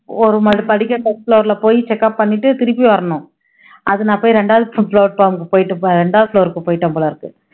ஒரு அந்த படிக்கட்டுல first floor ல போயி check up பண்ணிட்டு திருப்பி வரணும் அதுநான் போயி ரெண்டாவது போயிட்டு ரெண்டாவது floor க்கு போயிட்டேன் போலருக்கு